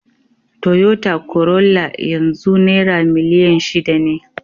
Toyota Corolla yanzu naira miliyan shida ne.